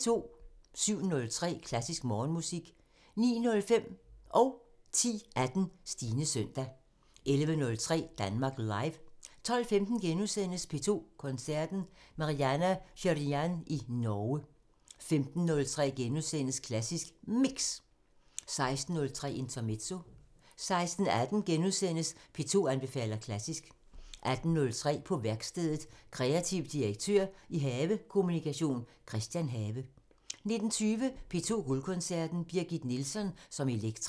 07:03: Klassisk Morgenmusik 09:05: Stines søndag 10:18: Stines søndag 11:03: Danmark Live 12:15: P2 Koncerten – Marianna Shirinyan i Norge * 15:03: Klassisk Mix * 16:03: Intermezzo 16:18: P2 anbefaler klassisk * 18:03: På værkstedet – Kreativ direktør i Have Kommunikation Christian have 19:20: P2 Guldkoncerten – Birgit Nilsson som Elektra